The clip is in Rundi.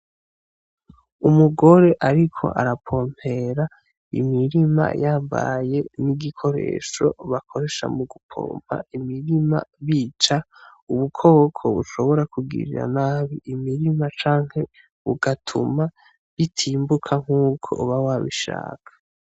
Umugore ariko arapompera imirima yambaye n'igikoresho bakoresha mu gupompa imirima bica ubukoko bushobora kugirira nabi imirima canke bugatuma bitimbuka nkuko uba wabishaka.